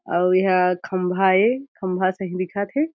अउ एहा खम्भा ए खम्भा सही दिखत हे ।